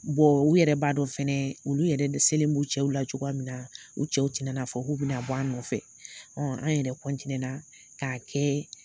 u yɛrɛ b'a dɔ fɛnɛ olu yɛrɛ dɛsɛlen b'u cɛw la cogoya min na. U cɛw ti nana fɔ k'u bɛna bɔ an nɔfɛ. An yɛrɛ k'a kɛ